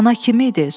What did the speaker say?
Ana kimi idi?